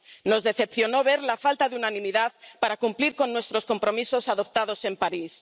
Nos decepcionó ver la falta de unanimidad para cumplir los nuestros compromisos adoptados en París.